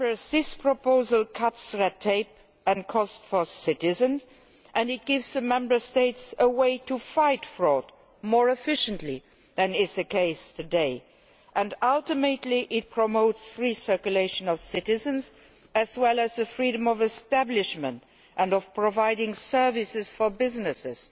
This proposal cuts red tape and costs for citizens and it gives the Member States a way to fight fraud more efficiently than is the case today. Ultimately, it promotes free circulation of citizens as well as the freedom of establishment and of providing services for businesses